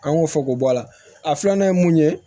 An y'o fɔ k'o bɔ a la a filanan ye mun ye